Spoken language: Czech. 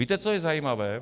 Víte, co je zajímavé?